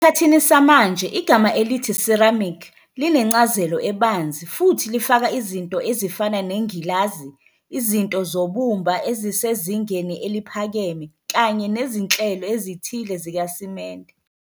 Esikhathini samanje igama elithi 'ceramic' linencazelo ebanzi futhi lifaka izinto ezifana nengilazi, izinto zobumba ezisezingeni eliphakeme kanye nezinhlelo ezithile zikasimende.